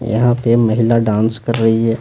यहां पे महिला डांस कर रही है।